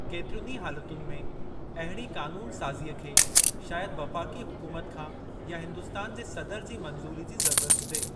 केतिरियुनि ई हालतुनि में, अहिड़ी क़ानून साज़ीअ खे शायदि वफ़ाक़ी हुकूमत खां या हिंदुस्तान जे सदर जी मंज़ूरी जी ज़रूरत हुजे।